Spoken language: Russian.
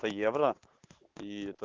евро